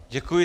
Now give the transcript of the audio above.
Děkuji.